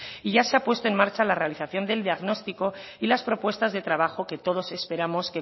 y ya se ha puesto en marcha la realización del diagnóstico y las propuestas de trabajo que todos esperamos